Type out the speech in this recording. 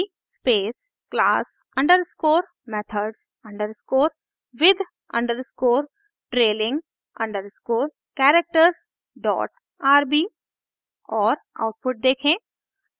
ruby space class underscore methods underscore with underscore trailing underscore characters dot rb और output देखें